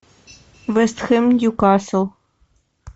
вест хэм ньюкасл